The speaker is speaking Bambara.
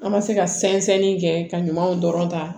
An ma se ka sɛnsɛnni kɛ ka ɲumanw dɔrɔn ta